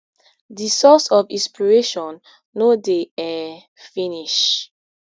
dis source of inspiration no dey um finish